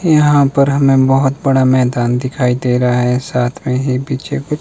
यहां पर हमें बहोत बड़ा मैदान दिखाई दे रहा है साथ में ही पीछे कुछ--